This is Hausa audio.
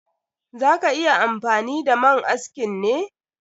Za ka yi amfani da man askin ne?